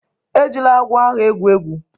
Ejila agwọ ahụ egwu egwu!